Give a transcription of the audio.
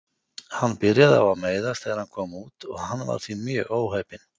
Hann byrjaði á að meiðast þegar hann kom út og hann var því mjög óheppinn.